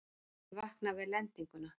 Ég vakna við lendinguna.